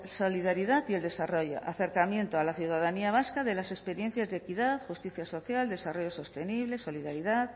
solidaridad y el desarrollo para el acercamiento a la ciudadanía vasca de las experiencias de equidad justicia social desarrollo sostenible solidaridad